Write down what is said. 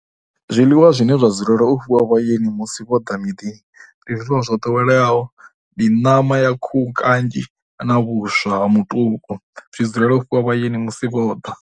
Zwiḽiwa zwine zwa dzulela u fhiwa vhaeni musi vho ḓa miḓini ndi zwiḽiwa zwo ḓoweleaho. Ndi ṋama ya khuhu kanzhi na vhuswa ha mutuku zwi dzulela u fhiwa vhaeni musi vho ḓa.